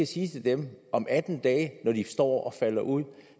sige til dem om atten dage når de står til at falde ud